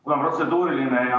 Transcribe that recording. Mul on protseduuriline.